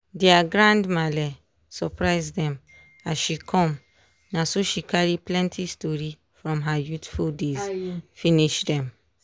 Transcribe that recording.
dia grand malle surprise dem as she come na so she carry plenty story from her youthful days finish dem.